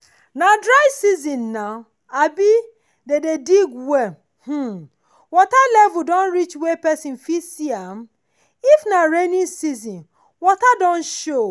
nah dry season nah um dey dey dig well um water level don reach wey pesin fit see am. if nah rainy season water don show.